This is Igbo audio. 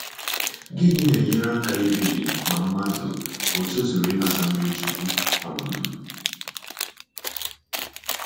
Gịnị na-enye aka ikpebi ma mmadụ o tozuru inata mmiri chukwu? um